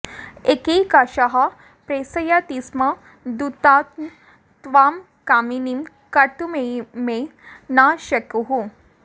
एकैकशः प्रेषयतिस्म दूतान् त्वां कामिनीं कर्तुमिमे न शेकुः